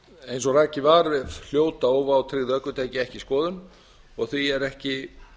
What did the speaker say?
eins og rakið var hljóta óvátryggð ökutæki ekki skoðun og því er ekki